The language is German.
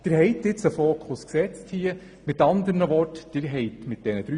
Mit diesen drei Postulaten haben Sie Prioritäten gesetzt.